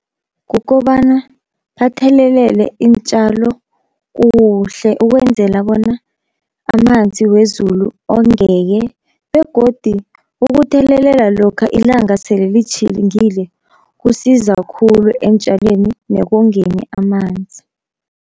Kukobana bathelelele iintjalo kuhle ukwenzela bona amanzi wezulu ongeke, begodi ukuthelelela lokha ilanga sele litjhilingile kusiza khulu eentjalweni nekongeni amanzi.